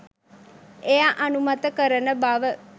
එය අනුමත කරන බව